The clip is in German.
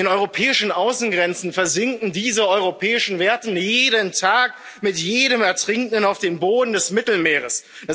An den europäischen Außengrenzen versinken diese europäischen Werte jeden Tag mit jedem Ertrinkenden auf den Boden des Mittelmeers.